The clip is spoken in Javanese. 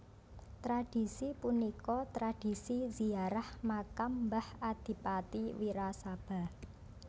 Tradhisi punika tradhisi ziarah makam mbah Adipati Wirasaba